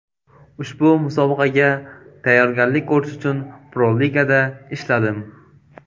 Ushbu musobaqaga tayyorgarlik ko‘rish uchun Pro-Ligada ishladim.